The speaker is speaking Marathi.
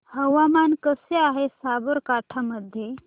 हवामान कसे आहे साबरकांठा मध्ये